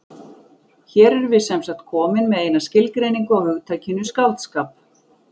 Hér erum við semsagt komin með eina skilgreiningu á hugtakinu skáldskap.